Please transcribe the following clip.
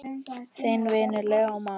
Þinn vinur, Leó Már.